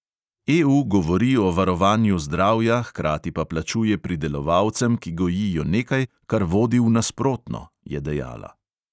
"EU govori o varovanju zdravja, hkrati pa plačuje pridelovalcem, ki gojijo nekaj, kar vodi v nasprotno," je dejala.